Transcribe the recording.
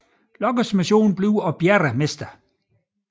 Lockes mission bliver at redde Mr